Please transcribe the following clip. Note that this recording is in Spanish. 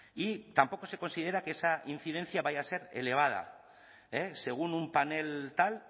y tampoco se considera que esa incidencia vaya a ser elevada según un panel tal